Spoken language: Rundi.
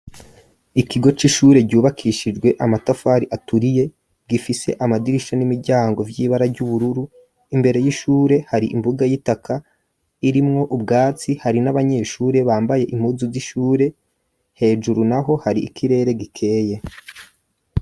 Ikigo c'ishure ryubakishijwe amatafari aturiye, gifise amadirisha n'imiryango vy'ibara ry'ubururu, imbere y'ishure hari imbuga y'itaka irimwo ubwatsi, hari n'abanyeshure bambaye impuzu z'ishure, hejuru naho hari ikirere gikeye.